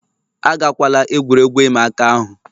Agakwala egwuregwu ịma aka ahụ